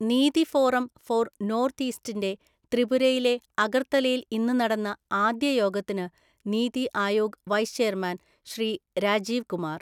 നീതി forum for‍ north ഈസ്റ്റിന്റെ ത്രിപുരയിലെ അഗര്ത്തലയില്‍ ഇന്നു നടന്നആദ്യ യോഗത്തിന് നീതി ആയോഗ് വൈസ് ചെയര്മാന്‍ ശ്രീ രാജീവ് കുമാര്‍,